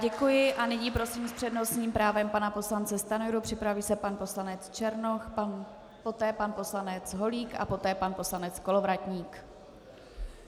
Děkuji a nyní prosím s přednostním právem pana poslance Stanjuru, připraví se pan poslanec Černoch, poté pan poslanec Holík a poté pan poslanec Kolovratník.